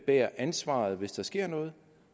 bærer ansvaret hvis der sker noget